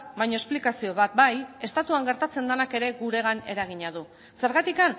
baina esplikazio bat bai estatuan gertatzen denak ere guregan eragina du zergatik